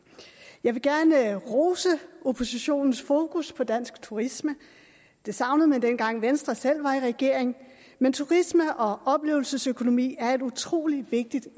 jeg vil gerne rose oppositionens fokus på dansk turisme det savnede man dengang venstre selv var i regering men turisme og oplevelsesøkonomi er et utrolig vigtigt